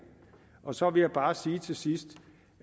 og så vil jeg bare sige til sidst